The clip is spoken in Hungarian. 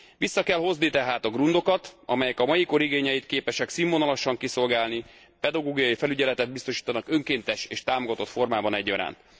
Vissza kell hozni tehát a grundokat, amelyek a mai kor igényeit képesek színvonalasan kiszolgálni, pedagógiai felügyeletet biztosítanak önkéntes és támogatott formában egyaránt.